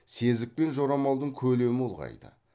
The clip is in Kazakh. сезік пен жорамалдың көлемі ұлғайды